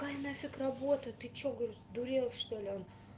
какая нафиг работа ты что говорю сдурел что-ли а он